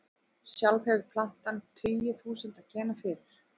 Sjálf hefur plantan tugi þúsunda gena fyrir.